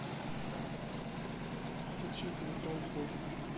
включить металкор